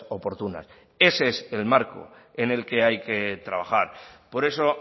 oportunas ese es el marco en el que hay que trabajar por eso